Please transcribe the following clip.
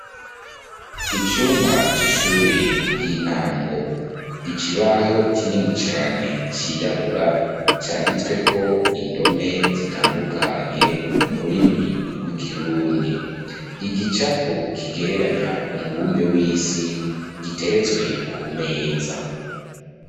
Icumba c'ishure ry'intango ikibaho kinini cane cirabura canditsweko indome zitandukanye mururimi rw'ikirundi ,igicapo kigereranya umubumbe w'isi giteretswe ku meza